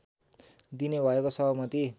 दिने भएको सहमति